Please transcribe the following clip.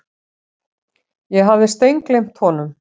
Ég hafði steingleymt honum.